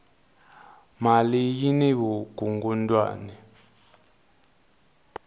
mali yini vukungundwani